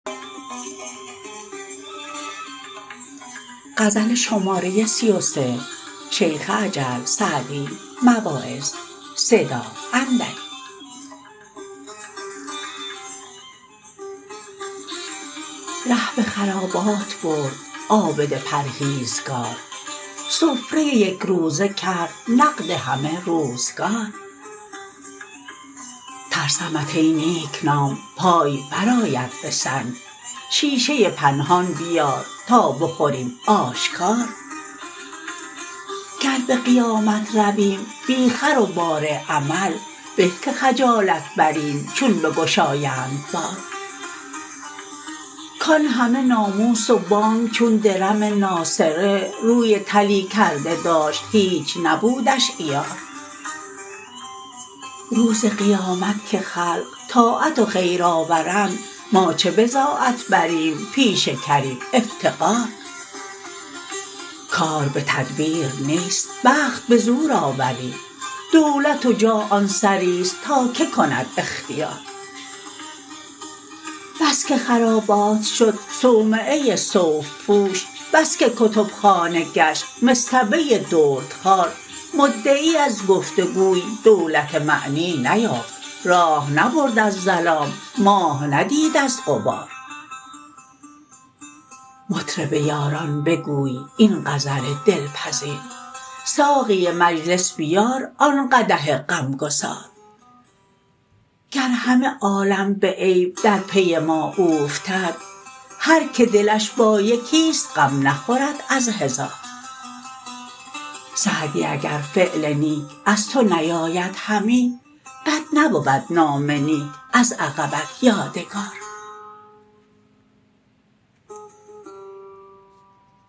ره به خرابات برد عابد پرهیزگار سفره یکروزه کرد نقد همه روزگار ترسمت ای نیکنام پای برآید به سنگ شیشه پنهان بیار تا بخوریم آشکار گر به قیامت رویم بی خر و بار عمل به که خجالت بریم چون بگشایند بار کان همه ناموس و بانگ چون درم ناسره روی طلی کرده داشت هیچ نبودش عیار روز قیامت که خلق طاعت و خیر آورند ما چه بضاعت بریم پیش کریم افتقار کار به تدبیر نیست بخت به زور آوری دولت و جاه آن سریست تا که کند اختیار بس که خرابات شد صومعه صوف پوش بس که کتبخانه گشت مصطبه دردخوار مدعی از گفت و گوی دولت معنی نیافت راه نبرد از ظلام ماه ندید از غبار مطرب یاران بگوی این غزل دلپذیر ساقی مجلس بیار آن قدح غمگسار گر همه عالم به عیب در پی ما اوفتد هر که دلش با یکیست غم نخورد از هزار سعدی اگر فعل نیک از تو نیاید همی بد نبود نام نیک از عقبت یادگار